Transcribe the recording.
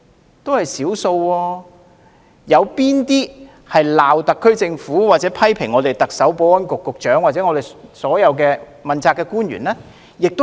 有多少是指責特區政府或批評特首、保安局局長和問責官員的呢？